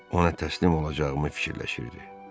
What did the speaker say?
Ona təslim olacağımı fikirləşirdi.